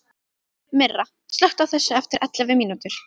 Myrra, slökktu á þessu eftir ellefu mínútur.